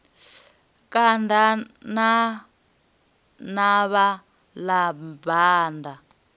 kanda ḽa navha na banda